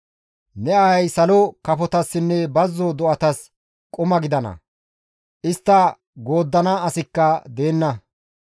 Ne ahay salo kafotassinne bazzo do7atas quma gidana; istta gooddana asikka deenna.